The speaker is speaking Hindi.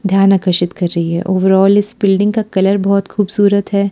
ध्यान आकर्षित कर रहीं हैं ओवरऑल इस बिल्डिंग का कलर बहोत खूबसूरत हैं।